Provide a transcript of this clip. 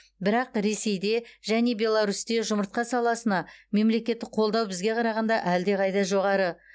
бірақ ресейде және беларусьте жұмыртқа саласына мемлекеттік қолдау бізге қарағанда әлдеқайда жоғары